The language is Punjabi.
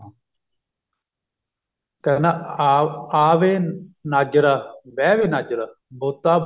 ਕਹਿੰਦਾ ਆ ਆ ਵੇ ਨਾਜਰਾ ਬਿਹ ਵੇ ਨਾਜਰਾ ਬੋਤਾ